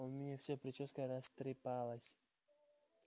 у меня вся причёска растрепалась